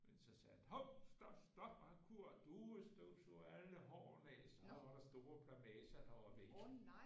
Men så sagde han hov stop stop og han du støvsuger alle hårene af så var der store plamager der var væk